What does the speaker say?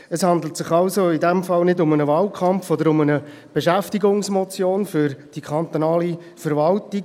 Es handelt also in dem Fall nicht um einen Wahlkampf oder um eine Beschäftigungsmotion für die kantonale Verwaltung.